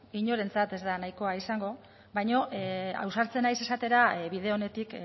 inorentzat ez da nahikoa izango baino ausartzen naiz esatera bide onetik